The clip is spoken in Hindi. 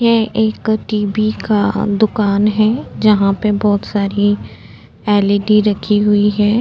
ये एक टी.वी का दुकान है जहाँ पे बहोत सारी एल.इ.डी रखी हुई है।